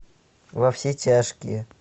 во все тяжкие